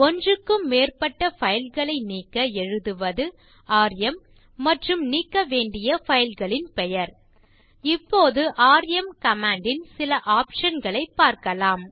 ஒன்றுக்கும் மேற்பட்ட பைல் களை நீக்க எழுதுவது ராம் மற்றும் நீக்க வேண்டிய பைல் களின் பெயர் இப்போது ராம் கமாண்ட் ன் சில optionகளைப் பார்க்கலாம்